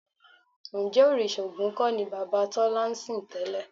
Ǹjẹ́ òrìṣà Ògún kọ́ ni bàbá Tọ́lá ń sìn tẹ́lẹ̀?